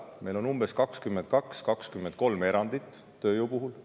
Meil on umbes 22–23 erandit tööjõu puhul.